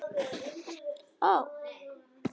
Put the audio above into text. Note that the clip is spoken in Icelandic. Flutt verða sex erindi.